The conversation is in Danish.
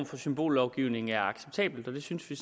for symbollovgivning var acceptabel og det synes vi